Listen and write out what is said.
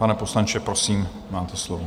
Pane poslanče, prosím, máte slovo.